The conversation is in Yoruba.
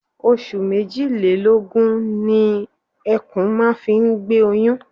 Oṣù méjìlélọ́gun ni ẹkún máa fi ń gbé oyún.